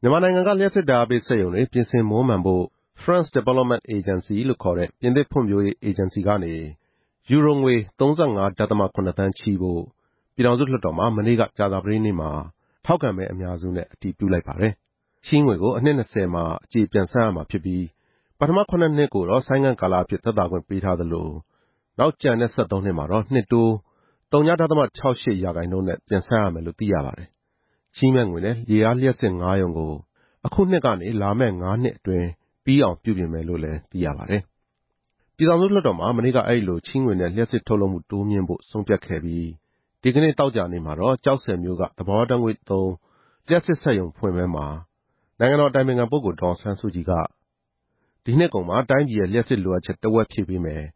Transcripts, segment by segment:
မြန်မာနိုင်ငံက လျှပ်စစ်ဓာတ်အားပေးစက်ရုံတွေ ပြင်ဆင်မွမ်းမံဖို့အတွက် French Development Agency ဆိုတဲ့ ပြင်သစ်ဖွံ့ဖြိုးရေးအေဂျင်စီကနေ ယူရိုငွေ ၃၅ ဒဿမ ၇ သန်းချေးဖို့ ပြည်ထောင်စုလွှတ်တော်မှာ မနေ့က ကြာသပတေးနေ့မှာ ထောက်ခံမဲအများစုနဲ့ အတည်ပြုလိုက်ပါတယ်။ ချေးငွေကို အနှစ် နှစ်ဆယ်မှာ အကျေပြန်ဆပ်ရမှာဖြစ်ပြီး ပထမ ၇ နှစ်ကို ဆိုင်းငံ့ကာလအဖြစ် သက်သာခွင့်ပေးသလို နောက်ကျန်တဲ့ ၁၃ နှစ်မှာတော့ နှစ်တိုး ဝ.၆၈ ရာခှိုင်နှုန်းနဲ့ ဆပ်ရမယ်လို့ သိရပါတယ်။ ချေးမယ့်ငွေနဲ့ ရေအားလျှပ်စစ် ငါးရုံကို အခုနှစ်ကနေ လာမယ့် ငါးနှစ်အတွင်း ပြီးအောင်ပြုပြင်ပြောင်းလဲမယ်လို့ သိရပါတယ်။ ပြည်သူ့လွှတ်တော်မှာ မနေ့ကအဲဒီလို ချေးငွေနဲ့ လျှှပ်စစ်ထုတ်လုပ်မှု တိုးမြှင့်ဖို့ ဆုံးဖြတ်ခဲ့ပြီး ဒီနေ့ သောကြာနေ့မှာတော့ ကျောက်ဆည်မြို့က သဘာဝဓာတ်ငွေ့သုံး လျှပ်စစ်စက်ရုံဖွင့်ပွဲမှာ နိုင်ငံတော်အတိုင်ပင်ခံပုဂ္ဂိုလ် ဒေါ်အောင်ဆန်းစုကြည်က ဒီနှစ်ကုန်မှာ တိုင်းပြည်ရဲ့ လျှပ်စစ်လိုအပ်ချက် တဝက်ဖြည့်ပေးမယ်၊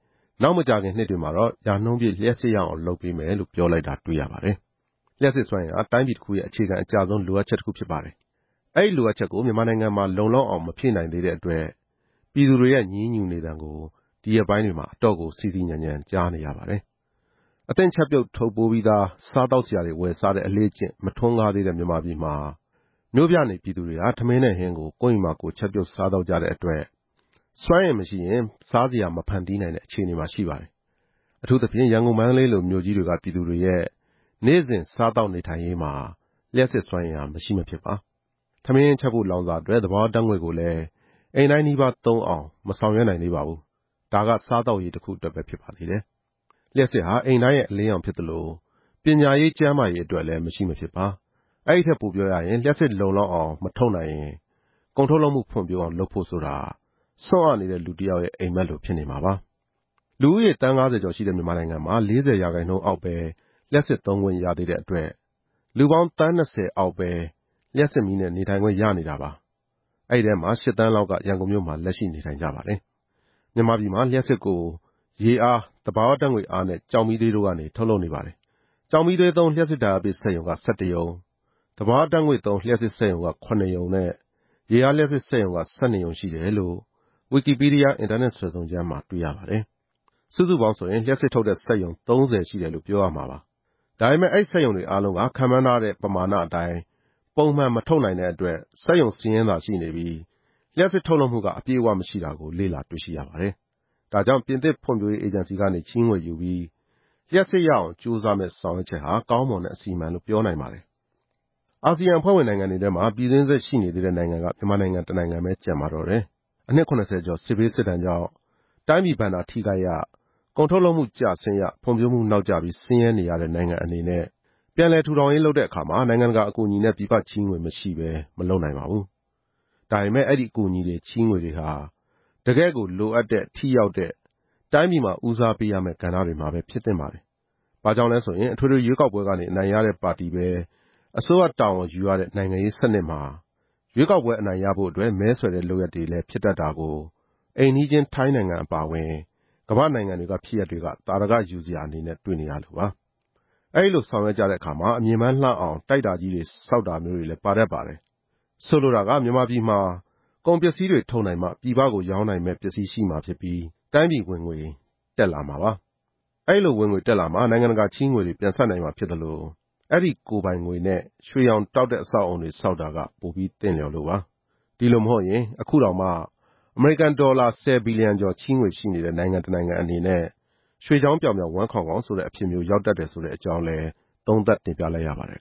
နောက်မကြာခင်မှာတော့ ရာနှုန်းပြည့် ရအောင်လုပ်ပေးမယ်လို့ ပြောလိုက်တာတွေ့ရပါတယ်။ လျှှပ်စစ်စွမ်းအင်ဟာ တိုင်းပြည်တခုရဲ့အခြေခံအကျဆုံး လိုအပ်ချက်တခုဖြစ်ပါတယ်။ အဲဒီလိုအပ်ချက်ကို မြန်မာနိုင်ငံမှာ လုံလောက်အောင် မဖြည့်နိုင်သေးတဲ့အတွက် ပြည်သူတွေရဲ့ ငြီးငြူနေသံကို ဒီရက်ပိုင်းတွေမှာ အတော့်ကို စီစီညံညံကြားနေရပါတယ်။ အသင့်ချက်ပြုတ်ထုတ်ပိုးပြီးသား စားသောက်စရာတွေ ဝယ်စားတဲ့ အလေ့အကျင့်မထွန်းကားသေးတဲ့ မြန်မာပြည်မှာ မြို့ပြနေပြည်သူတွေဟာ ထမင်းနဲ့ဟင်းကို ကိုယ့်အိမ်မှာကိုယ် ချက်ပြုတ်စားသောက်ကြတဲ့အတွက် စွမ်းအင်မရှိရင် စားစရာမဖန်တီးနိုင်တဲ့ အခြေအနေမှာ ရှိပါတယ်။ အထူးသဖြင့် ရန်ကုန်၊ မန္တလေးလိုမြို့ကြီးတွေက ပြည်သူတွေရဲ့ နေ့စဉ်စားသောက်နေထိုင်ရေးမှာ လျှပ်စစ်စွမ်းအင်ဟာ မရှိမဖြစ်ပါ။ ထမင်းဟင်းချက်ဖို့ လောင်စာအတွက် သဘာဝဓာတ်ငွေ့ကိုလည်း အိမ်တိုင်းနီးပါးသုံးအောင် မဆောင်ရွက်နိုင်သေးပါဘူး။ ဒါက စားသောက်ရေးတခုအတွက်ပဲ ဖြစ်ပါသေးတယ်။ လျှပ်စစ်ဟာ အိမ်တိုင်းရဲ့အလင်းရောင်ဖြစ်သလို ပညာရေး၊ကျန်းမာရေးတွေ အတွက်လည်း မရှိမဖြစ်ပါ။ အဲဒီထက် ပိုပြီးပြောရရင် လျှပ်စစ်လုံလောက်အောင် မထုတ်နိုင်ရင် ကုန်ထုတ်လုပ်မှုဖွံ့ဖြိုးအောင် လုပ်ဖို့ဆိုတာ ဆွံ့အနေတဲ့လူတယောက်ရဲ့ အိပ်မက်လိုဖြစ်နေမှာပါ။ လူဦးရေ သန်း ၅ဝ ကျော်ရှိတဲ့ မြန်မာနိုင်ငံမှာ ၄ဝရာခိုင်နှုန်းအောက်ပဲ လျှပ်စစ်သုံးခွင့်ရသေးတဲ့အတွက် လူသန်း ၂ဝ အောက်ပဲ လျှပ်စစ်မီးနဲ့ နေထိုင်ခွင့်ရနေတာပါ။ အဲဒီထဲမှာ ၈ သန်းလောက်က ရန်ကုန်မြို့မှာ လက်ရှိနေထိုင်နေကြပါတယ်။ မြန်မာပြည်မှာ လျှပ်စစ်ကို ရေအား၊ သဘာဝဓာတ်ငွေ့အားနဲ့ ကျောက်မီးသွေးတို့ကနေ ထုတ်လုပ်နေတာပါ။ ကျောက်မီးသွေးသုံး လျှပ်စစ်ဓာတ်အားပေးစက်ရုံက ၁၁ ရုံ၊ သဘာဝဓာတ်ငွေ့သုံး လျှပ်စစ်စက်ရုံက ၇ ရုံနဲ့ ရေအားလျှပ်စစ်စက်ရုံကတော့ ၁၂ ရုံ ရှိတယ်လို့ ဝီကီပီးဒီးယား အင်တာနက်စွယ်စုံကျမ်းမှာ တွေ့ရပါတယ်။ စုစုပေါင်းဆိုရင် လျှပ်စစ်ထုတ်တဲ့ စက်ရုံ ၃ဝ ရှိတယ်လို့ပြောရမှာပါ။ ဒါပေမယ့် အဲဒီစက်ရုံတွေအားလုံးက ခန့်မှန်းထားတဲ့ ပမာဏအတိုင်း ပုံမှန်မထုတ်နိုင်တဲ့အတွက် စက်ရုံစာရင်းသာရှိနေပြီး၊ လျှပ်စစ်ထုတ်လုပ်မှုက အပြည့်အဝမရှိတာကို လေ့လာတွေ့ရှိရပါတယ်။ ဒါကြောင့် ပြင်သစ်ဖွံ့ဖြိုးရေး အေဂျင်စီကနေ ချေးငွေယူပြီး လျှပ်စစ်ရအောင် ကြိုးစားမယ့်ဆောင်ရွက်ချက်က ကောင်းမွန်တဲ့အစီအမံလို့ ပြောနိုင်ပါတယ်။ အာဆီယံအဖွဲ့ဝင်နိုင်ငံတွေထဲမှာ ပြည်တွင်းစစ် ရှိနေသေးတဲ့နိုင်ငံက မြန်မာနိုင်ငံတနိုင်ငံပဲ ကျန်ပါတော့တယ်။ အနှစ် ၇ဝ ကျော် စစ်ဘေးစစ်ဒဏ်ကြောင့် တိုင်းပြည်ဘဏ္ဍာထိခိုက်ရ၊ ကုန်ထုတ်လုပ်မှု ကျဆင်းရ၊ ဖွံ့ဖြိုးမှုနောက်ကျပြီး ဆင်းရဲနေတဲ့ နိုင်ငံအနေနဲ့ ပြန်လည်ထူထောင်ရေးလုပ်တဲ့အခါ နိုင်ငံတကာအကူအညီနဲ့ ပြည်ပချေးေငွေမရှိဘဲ မလုပ်နိုင်ပါဘူး။ ဒါပေမယ့် အဲဒီအကူအညီတွေ ချေးငွေတွေဟာ တကယ့်ကိုလိုအပ်တဲ့၊ ထိရောက်တဲ့၊ တိုင်းပြည်မှာ ဦးစားပေးရမယ့် ကဏ္ဍတွေမှာပဲ ဖြစ်သင့်ပါတယ်။ ဘာကြောင့်လဲဆိုရင် အထွေထွေရွေးကောက်ပွဲကနေ အနိုင်ရတဲ့ပါတီပဲ အစိုးရတာဝန်ယူရတဲ့ နိုင်ငံရေးစနစ်မှာ ရွေးကောက်ပွဲအနိုင်ရရေးအတွက် မဲဆွယ်တဲ့ လုပ်ရပ်တွေလဲ ဖြစ်လာတတ်တာကို အိမ်နီးချင်း ထိုင်းနိုင်ငံအပါအဝင်၊ ကမ္ဘာ့နိုင်ငံတွေက ဖြစ်ရပ်တွေက သာဓကယူစရာအနေနဲ့ တွေ့နေရလို့ပါ။ အဲဒီလို ဆောင်ရွက်ကြတဲ့အခါမှာ အမြင်ပန်းလှအောင် တိုက်တာကြီးတွေ ဆောက်တာမျိုးလည်း ပါတတ်ပါတယ်။ ဆိုလိုတာက မြန်မာပြည်မှာ ကုန်ပစ္စည်းတွေထုတ်နိုင်မှ ပြည်ပကို ရောင်းနိုင်မယ့်ပစ္စည်းရှိမှာဖြစ်ပြီး၊ တိုင်းပြည်ဝင်ငွေ တက်လာမှာပါ။ အဲဒီလိုဝင်ငွေတက်လာမှ နိုင်ငံတကာက ချေးငွေတွေ ပြန်ဆပ်နိုင်မှာဖြစ်သလို၊ အဲဒီလိုကိုယ်ပိုင်ငွေနဲ့ ရွှေရောင်တောက်တဲ့ အဆောက်အဦးတွေ ဆောက်တာက ပိုပြီးသင့်လျှော်လို့ပါ။ ဒီလိုမဟုတ်ရင် အခုတောင် အမေရိကန်ဒေါ်လာ ၁ဝ ဘီလီယံကျော် ချေးငွေရှိနေတဲ့ နိုင်ငံအနေနဲ့ ရွှေကျောင်းပြောင်ပြောင် ဝမ်းခေါင်ခေါင်ဆိုတဲ့အဖြစ်မျိုး ရောက်တတ်တယ်ဆိုတဲ့အကြောင်း သုံးသပ်တင်ပြလိုက်ရပါတယ်